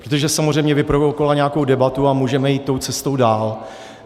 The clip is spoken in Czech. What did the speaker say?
Protože samozřejmě vyprovokovala nějakou debatu a můžeme jít tou cestou dál.